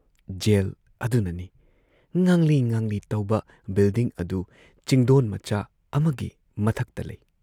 Gel ꯑꯗꯨꯅꯅꯤ ꯫ ꯉꯥꯡꯂꯤ ꯉꯥꯡꯂꯤ ꯇꯧꯕ ꯕꯤꯜꯗꯤꯡ ꯑꯗꯨ ꯆꯤꯡꯗꯣꯟ ꯃꯆꯥ ꯑꯃꯒꯤ ꯃꯊꯛꯇ ꯂꯩ ꯫